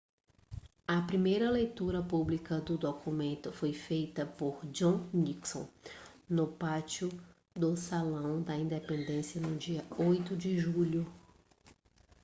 a primeira leitura pública do documento foi feita por john nixon no pátio do salão da independência no dia 8 de julho